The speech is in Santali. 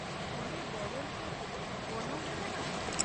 -ᱚᱸᱰᱮ ᱵᱚᱞᱚᱱ ᱪᱮᱫ ᱜᱚᱱᱚᱝ ᱢᱮᱱᱟᱜᱼᱟ ?